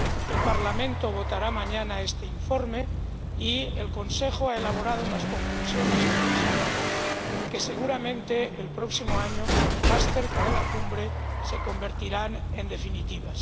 El Parlamento votará mañana este informe y el Consejo ha elaborado unas conclusiones provisionales que seguramente el próximo año, más cerca de la cumbre, se convertirán en definitivas.